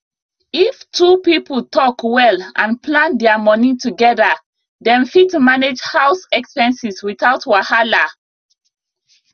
if two people talk well and plan their money together dem fit manage house expenses without wahala